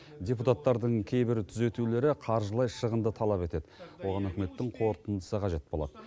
депутаттардың кейбір түзетулері қаржылай шығынды талап етеді оған үкіметтің қорытындысы қажет болады